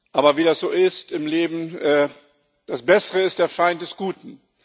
Aber wie das so ist im Leben Das Bessere ist der Feind des Guten.